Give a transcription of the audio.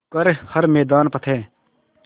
कर हर मैदान फ़तेह